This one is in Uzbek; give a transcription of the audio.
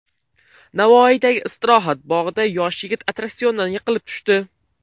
Navoiydagi istirohat bog‘ida yosh yigit attraksiondan yiqilib tushdi.